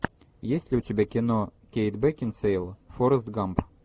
есть ли у тебя кино кейт бекинсейл форрест гамп